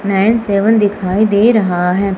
Nine seven दिखाई दे रहा है।